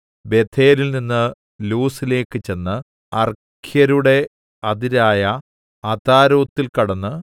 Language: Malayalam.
ബേഥേലിൽനിന്ന് ലൂസിലേക്ക് ചെന്ന് അർഖ്യരുടെ അതിരായ അതാരോത്തിൽ കടന്ന്